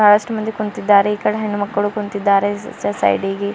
ಜಾಸ್ತ್ ಮಂದಿ ಕುಂತಿದ್ದಾರೆ ಈ ಕಡೆ ಹೆಣ್ಣು ಮಕ್ಕಳು ಕುಂತಿದ್ದಾರೆ ಈಚೆ ಸೈಡಿಗೆ.